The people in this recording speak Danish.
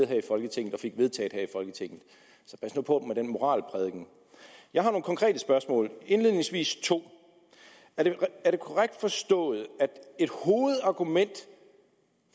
her i folketinget og fik vedtaget her i folketinget så pas nu på med den moralprædiken jeg har nogle konkrete spørgsmål indledningsvis to er det korrekt forstået at et hovedargument